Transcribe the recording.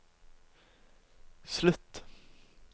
slutt